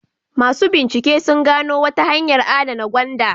Masu bincike sun gano wata hanyar adana gwanda.